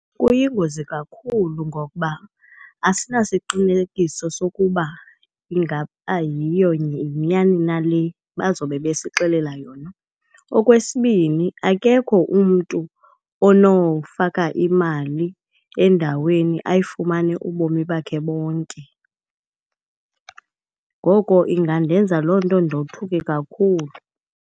Kuyingozi kakhulu ngokuba asinasiqinekiso sokuba ingaba yiyo yinyani na le bazobe besixelela yona. Okwesibini, akekho umntu onofaka imali endaweni ayifumane ubomi bakhe bonke. Ngoko ingandenza loo nto ndothuke kakhulu.